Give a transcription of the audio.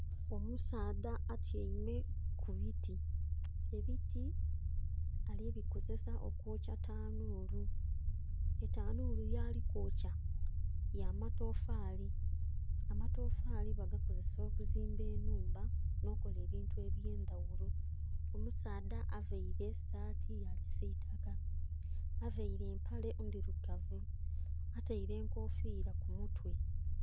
Omusaadha atyaime ku biti. Ebiti ali bikozesa okwokya tanuulu. Etanuulu yaali kwokya, ya matofaali. Amatofaali bagakozesa okuzimba ennhumba, nh'okola ebintu eby'endaghulo. Omusaadha availe saati ya kisiitaka. Availe empale ndhilugavu, ataile enkofiila ku mutwe.